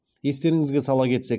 естеріңізге сала кетсек